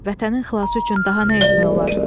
Vətənin xilası üçün daha nə etmək olar?